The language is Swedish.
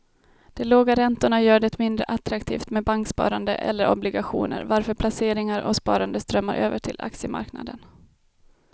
De låga räntorna gör det mindre attraktivt med banksparande eller obligationer varför placeringar och sparande strömmar över till aktiemarknaden.